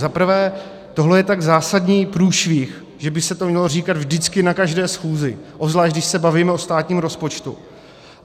Za prvé, tohle je tak zásadní průšvih, že by se to mělo říkat vždycky na každé schůzi, obzvlášť když se bavíme o státním rozpočtu.